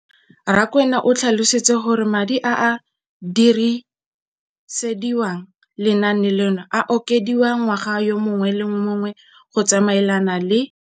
Rakwena o tlhalositse gore madi a a dirisediwang lenaane leno a okediwa ngwaga yo mongwe le yo mongwe go tsamaelana le